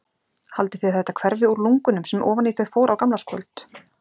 Haldið þið að þetta hverfi úr lungunum sem ofan í þau fór á gamlárskvöld?